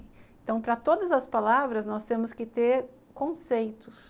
Então, para todas as palavras, nós temos que ter conceitos.